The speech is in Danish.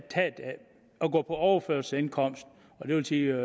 gå på overførselsindkomst det vil sige